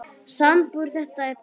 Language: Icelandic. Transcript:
Samdir þú þetta bréf?